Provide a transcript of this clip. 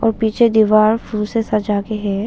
वो पीछे दीवार फुल से सजा के है।